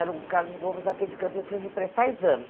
Era o Carlos Gomes, aqui de Campinas, me prestar exame.